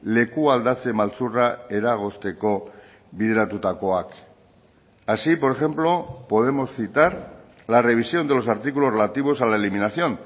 leku aldatze maltzurra eragozteko bideratutakoak así por ejemplo podemos citar la revisión de los artículos relativos a la eliminación